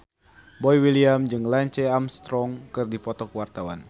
Boy William jeung Lance Armstrong keur dipoto ku wartawan